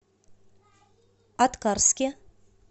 аткарске